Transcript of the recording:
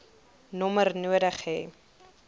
nommer nodig hê